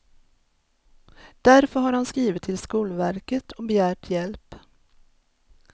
Därför har de skrivit till skolverket och begärt hjälp.